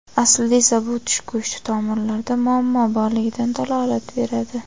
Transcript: aslida esa bu tish go‘shti tomirlarida muammo borligidan dalolat beradi.